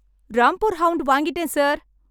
Rampur hound வாங்கிட்டேன் sir!